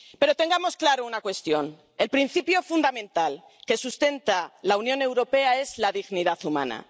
Pero tengamos claro una cuestión el principio fundamental que sustenta la Unión Europea es la dignidad humana.